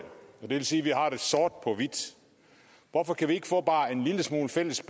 vil sige at vi har det sort på hvidt hvorfor kan vi ikke få bare en lille smule fælles